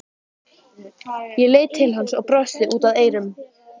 Ég leit til hans og brosti út að eyrum.